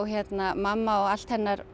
mamma og allt hennar